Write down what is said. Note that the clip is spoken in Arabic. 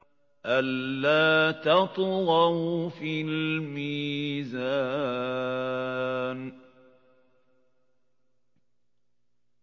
أَلَّا تَطْغَوْا فِي الْمِيزَانِ